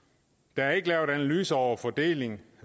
der er ikke lavet analyser over fordele